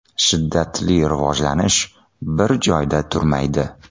Shiddatli rivojlanish bir joyda turmaydi.